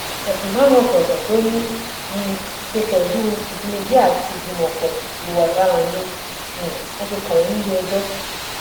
ẹsùn márùnún ọtọọtọ tó ní í um ṣe pẹlú ìjínigbé àti ìgbìmọpọ hùwà ọdaràn ni um wọn fi kàn wọn nílẹẹjọ